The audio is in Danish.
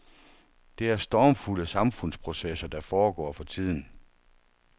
Det er stormfulde samfundsprocesser, der foregår for tiden.